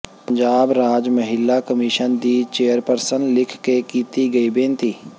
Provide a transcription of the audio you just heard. ਪੰਜਾਬ ਰਾਜ ਮਹਿਲਾ ਕਮਿਸ਼ਨ ਦੀ ਚੇਅਰਪਰਸਨ ਲਿਖ ਕੇ ਕੀਤੀ ਗਈ ਬੇਨਤੀ